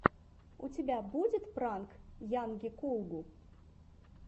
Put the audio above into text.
у тебя будет пранк йанги кулгу